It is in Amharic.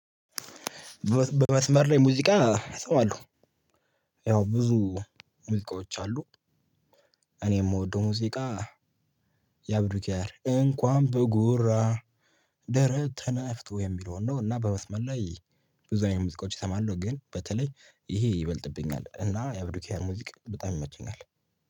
በመስመር ላይ ሙዚቃ ሰው አለው ያው ብዙ ሙዚቃዎች አሉ። እኔ የምወደው ሙዚቃ የአብዱኪያር እንኳን በጉራ ደረት ነፍቶ የሚለውን ነው። እና በመስመር ላይ ብዙ አይነት ሙዚቃዎች እሰማለሁኝ። ግን በተለይ ይሄ ይበልጥብኛል እና የአብዱኪያ ሙዚቃ በጣም ይመቸኛል።